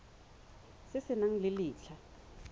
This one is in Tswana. se se nang le letlha